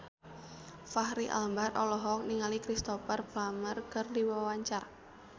Fachri Albar olohok ningali Cristhoper Plumer keur diwawancara